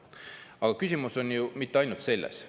Aga küsimus pole ju ainult selles.